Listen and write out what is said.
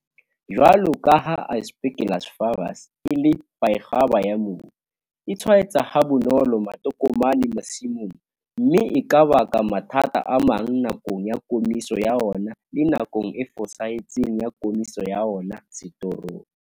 Jwalo ka ha Aspergillus flavus e le kwaekgwaba ya mobu, e tshwaetsa ha bonolo matokomane masimong, mme e ka baka mathata a mang nakong ya komiso ya ona le nakong e fosahetseng ya komiso ya ona setorong.